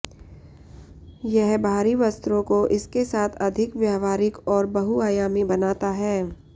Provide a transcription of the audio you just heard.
यह बाहरी वस्त्रों को इसके साथ अधिक व्यावहारिक और बहुआयामी बनाता है